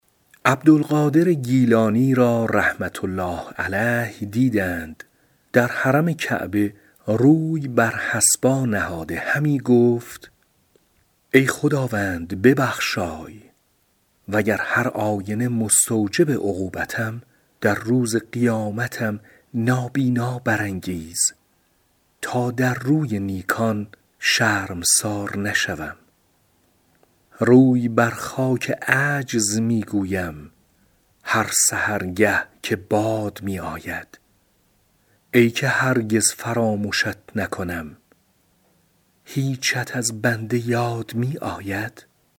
عبدالقادر گیلانی را رحمة الله علیه دیدند در حرم کعبه روی بر حصبا نهاده همی گفت ای خداوند ببخشای وگر هرآینه مستوجب عقوبتم در روز قیامتم نابینا برانگیز تا در روی نیکان شرمسار نشوم روی بر خاک عجز می گویم هر سحرگه که باد می آید ای که هرگز فرامشت نکنم هیچت از بنده یاد می آید